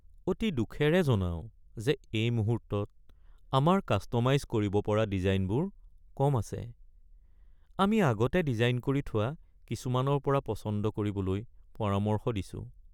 আমি দুখেৰে জনাও যে এই মুহূৰ্তত আমাৰ কাষ্ট'মাইজ কৰিব পৰা ডিজাইনবোৰ কম আছে। আমি আগতে ডিজাইন কৰি থোৱা কিছুমানৰ পৰা পচন্দ কৰিবলৈ পৰামৰ্শ দিছোঁ।